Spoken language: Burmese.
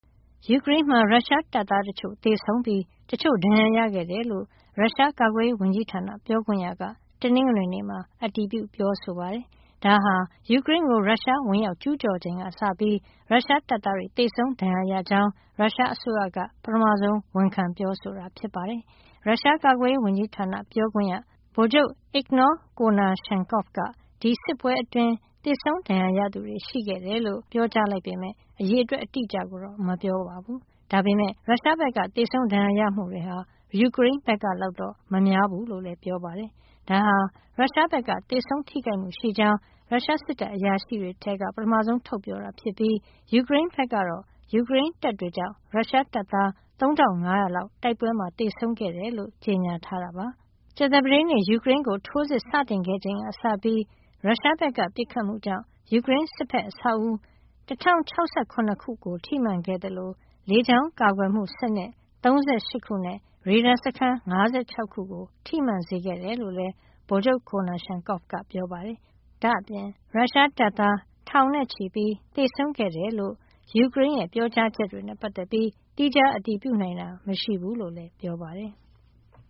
ယူကရိန်းမှာ ရုရှားတပ်သားတချို့ သေဆုံးပြီး တချို့ ဒဏ်ရာရခဲ့တယ်လို့ ရုရှားကာကွယ်ရေးဝန်ကြီးဌာန ပြောခွင့်ရက တနင်္ဂနွေနေ့မှာ အတည်ပြု ပြောဆိုပါတယ်။ ဒါဟာ ယူကရိန်းကို ရုရှားဝင်ရောက် ကျူးကျော်ချိန်ကစပြီး ရုရှားတပ်သားတွေ သေဆုံးဒဏ်ရာရကြောင်း ရုရှားအစိုးရက ပထမဆုံး ဝန်ခံပြောဆိုတာ ဖြစ်ပါတယ်။ ရုရှားကာကွယ်ရေးဝန်ကြီးဌာန ပြောခွင့်ရ ဗိုလ်ချုပ် Igor Konashenkov က ဒီစစ်ပွဲအတွင်း သေဆုံးဒဏ်ရာရသူတွေ ရှိတယ်လို့ တနင်္ဂနွေနေ့မှာ ပြောကြားလိုက်ပေမယ့် အရေအတွက် အတိအကျကိုတော့ မပြောပါဘူး။ ဒါပေမယ့် ရုရှားဘက်က သေဆုံး ဒဏ်ရာရမှုတွေဟာ ယူကရိန်းဘက်ကလောက် မများဘူးလို့လည်း ပြောပါတယ်။ ဒါဟာ ရုရှားဘက်က သေဆုံးထိခိုက်မှုရှိကြောင်း ရုရှားစစ်တပ်အရာရှိတွေက ပထမဆုံး ထုတ်ပြောတာဖြစ်ပြီး ယူကရိန်းဘက်ကတော့ ယူကရိန်းတပ်တွေကြောင့် ရုရှားတပ်သား ၃,၅၀၀ လောက် တိုက်ပွဲမှာ သေဆုံးခဲ့တယ်လို့ ကြေညာထားတာပါ။ ကြာသပတေးနေ့ ယူကရိန်းကို ထိုးစစ်စတင်ခဲ့ချိန်ကစပြီး ရုရှားဘက်က ပစ်ခတ်မှုကြောင့် ယူကရိန်းစစ်ဘက် အဆောက်အဦး ၁,၀၆၇ ခုကို ထိမှန်ခဲ့သလို လေကြာင်းကာကွယ်မှုစနစ် ၃၈ ခုနဲ့ ရေဒါစခန်း ၅၆ ခုကို ထိမှန်စေခဲ့တယ်လို့လည်း ဗိုလ်ချုပ် Konashenkov က ပြောပါတယ်။ ဒါ့အပြင် ရုရှားတပ်သား ထောင်နဲ့ချီ သေဆုံးခဲ့တယ်လို့ ယူကရိန်းရဲ့ ပြောကြားချက်တွေနဲ့ ပတ်သက်ပြီး သီးခြားအတည်ပြုနိုင်တာ မရှိဘူးလို့လည်း ပြောပါတယ်။